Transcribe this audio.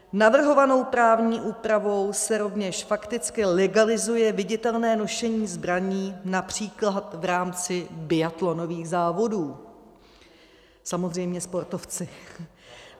Navrhovanou právní úpravou se rovněž fakticky legalizuje viditelné nošení zbraní například v rámci biatlonových závodů, samozřejmě sportovci.